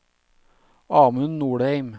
Amund Nordheim